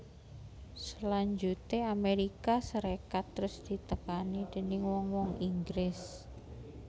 Salanjuté Amérika Sarékat terus ditekani déning wong wong Inggris